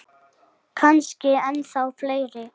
Kannski ennþá fleiri.